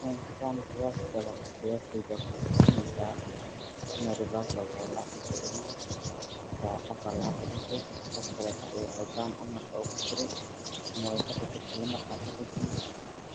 Hadaan qiyaasi karo qiyaasteyda wexeey itusineysaa inaay reversal tahay lacag lasoo cilinaayo, markaa qof aa lacag kaduntay qof kaleto ayuu qaldaan ogu diray ama waay kaqaldantay, nambarkaa kaqaldame